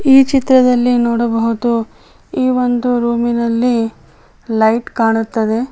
ಈ ಚಿತ್ರದಲ್ಲಿ ನೋಡಬಹುದು ಈ ಒಂದು ರೂಮ್ ನಲ್ಲಿ ಲೈಟ್ ಕಾಣುತ್ತದೆ.